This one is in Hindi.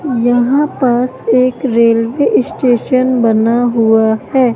यहाँ पास एक रेल्वे स्टेशन बना हुआ है।